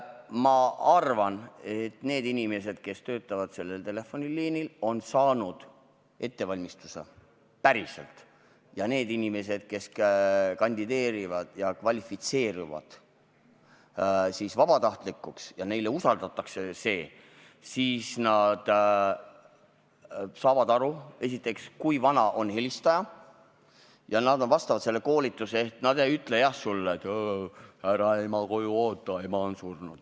Ma arvan, et need inimesed, kes sellel telefoniliinil töötavad, on saanud korraliku ettevalmistuse ja et need inimesed, kes kandideerivad ja kvalifitseeruvad vabatahtlikuks ja kellele see töö usaldatakse, saavad aru, kui vana on helistaja, ja vastavalt sellele koolitusele ei ütle nad lapsele, et ära ema koju oota, ema on surnud.